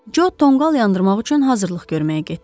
Co tonqal yandırmaq üçün hazırlıq görməyə getdi.